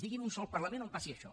digui’m un sol parlament on passi això